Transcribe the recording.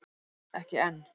Ekki enn